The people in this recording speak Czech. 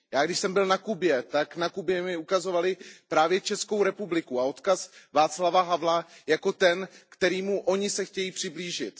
Já když jsem byl na Kubě, tak na Kubě mi ukazovali právě Českou republiku a odkaz Václava Havla jako ten, kterému oni se chtějí přiblížit.